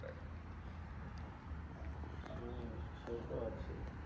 উম সেতো আছেই